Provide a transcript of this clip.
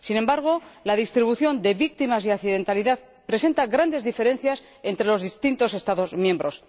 Sin embargo, la distribución de víctimas y de accidentalidad presenta grandes diferencias entre los distintos Estados miembros.